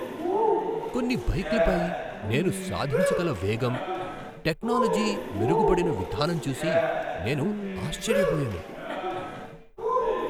కొన్ని బైక్లపై నేను సాధించగల వేగం, టెక్నోలోజి మెరుగుపడిన విధానం చూసి నేను ఆశ్చర్యపోయాను.